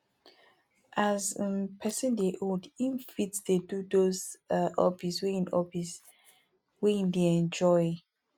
as um person dey old im fit dey do those um hobbies wey im hobbies wey im dey enjoy